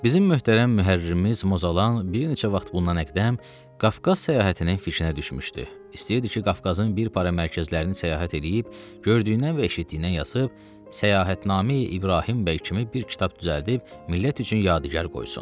Bizim möhtərəm müərririmiz Mozalan bir neçə vaxt bundan əqdəm Qafqaz səyahətinin fişinə düşmüşdü, istəyirdi ki, Qafqazın bir para mərkəzlərini səyahət eləyib, gördüyündən və eşitdiyindən yazıb səyahətnamə-i İbrahim bəy kimi bir kitab düzəldib millət üçün yadigar qoysun.